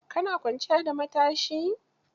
Ka na kwanciya da matsashi?